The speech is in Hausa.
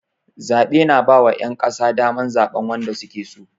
Zaɓe na ba wa ƴan ƙasa daman zaɓan wanda suke so